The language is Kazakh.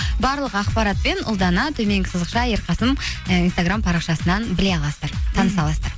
барлық ақпаратпен ұлдана төменгі сызықша ерқасын і инстаграм парақшасынан біле аласыздар таныса аласыздар